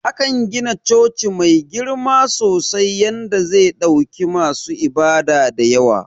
Akan gina coci da girma sosai yanda ze ɗauki masu ibada dayawa.